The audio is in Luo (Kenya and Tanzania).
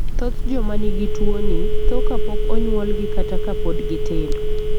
Thoth joma nigi tuwoni tho kapok onyuolgi kata ka pod gitindo.